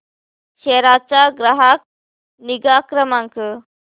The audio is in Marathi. सेरा चा ग्राहक निगा क्रमांक